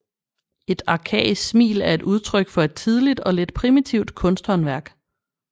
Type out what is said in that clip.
Et arkaisk smil er et udtryk for et tidligt og lidt primitivt kunsthåndværk